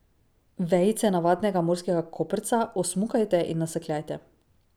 Vejice navadnega morskega koprca osmukajte in nasekljajte.